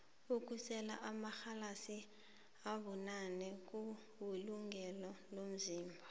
ukusela amarhalasi abunane kuwulungele umzimba